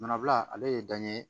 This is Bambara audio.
Manabila ale ye dan ye